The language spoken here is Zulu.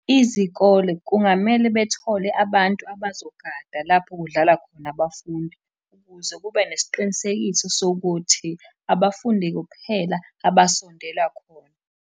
Izikole kungamele bethole abantu abazogada lapho kudlala khona abafundi, ukuze kube nesiqinisekiso sokuthi abafundi kuphela abasondela khona.